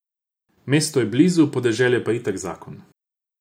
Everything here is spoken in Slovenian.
Mesto je blizu, podeželje pa je itak zakon.